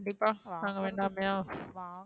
கண்டிப்பா நாங்க வேண்டமாயா?